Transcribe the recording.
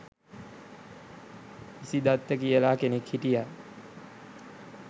ඉසිදත්ත කියලා කෙනෙක් හිටියා.